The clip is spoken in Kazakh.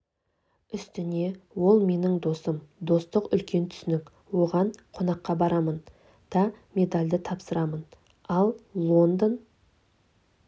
үстіне ол менің досым достық үлкен түсінік оған қонаққа барамын да медалді тапсырамын ал лондон